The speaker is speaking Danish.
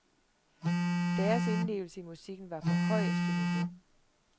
Deres indlevelse i musikken var på højeste niveau.